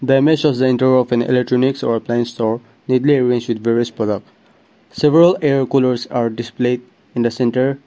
the image shows the entry of an electronics or a plain store neatly arranged with various products several air coolers are displayed in the centre.